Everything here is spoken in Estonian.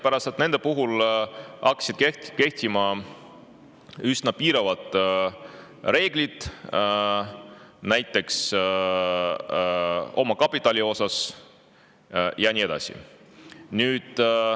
hakkasid kehtima üsna piiravad reeglid näiteks omakapitali osas ja nii edasi.